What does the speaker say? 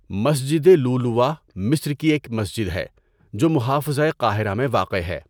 مسجدِ لُؤلُؤَہ مصر کی ایک مسجد ہے جو محافظۂ قاہرہ میں واقع ہے۔